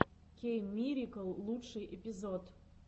кейммирикл лучший эпизод